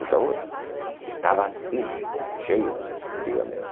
Então, estava assim, cheio, antigamente.